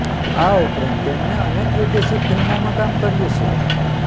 આ ઉપરાંત તેમણે અનેક વિદેશી ફિલ્મોમાં કામ કર્યું છે